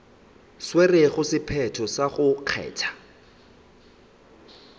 tšerego sephetho sa go kgatha